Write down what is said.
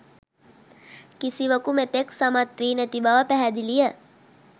කිසිවකු මෙතෙක් සමත් වී නැති බව පැහැදිලිය.